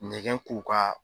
Nɛgɛn k'u ka